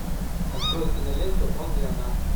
открой киноленту он и она